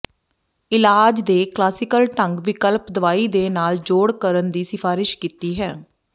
ਇਲਾਜ ਦੇ ਕਲਾਸੀਕਲ ਢੰਗ ਵਿਕਲਪਕ ਦਵਾਈ ਦੇ ਨਾਲ ਜੋੜ ਕਰਨ ਦੀ ਸਿਫਾਰਸ਼ ਕੀਤੀ ਹੈ